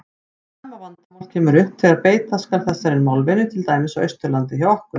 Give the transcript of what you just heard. Sama vandamál kemur upp þegar beita skal þessari málvenju til dæmis á Austurlandi hjá okkur.